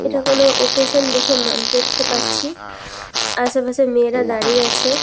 এটা কোনো ওকেশন দেখে মান দেখতে পাচ্ছি আশেপাশে মেয়েরা দাঁড়িয়ে আছে।